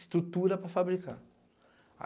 Estrutura para fabricar.